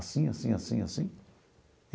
Assim, assim, assim, assim.